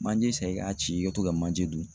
Manje san i k'a ci i ka to ka manje dun